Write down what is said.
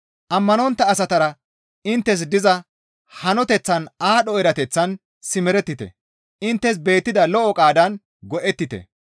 Ammanontta asatara inttes diza hanoteththan aadho erateththan simerettite; inttes beettida lo7o qaadan go7ettite.